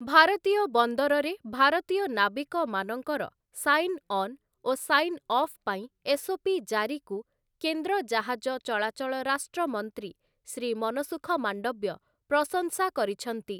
ଭାରତୀୟ ବନ୍ଦରରେ ଭାରତୀୟ ନାବିକମାନଙ୍କର ସାଇନ୍ ଅନ୍ ଓ ସାଇନ୍ ଅଫ୍ ପାଇଁ ଏସ୍‌ଓପି ଜାରିକୁ କେନ୍ଦ୍ର ଜାହାଜ ଚଳାଚଳ ରାଷ୍ଟ୍ର ମନ୍ତ୍ରୀ ଶ୍ରୀ ମନସୁଖ ମାଣ୍ଡବ୍ୟ ପ୍ରଶଂସା କରିଛନ୍ତି ।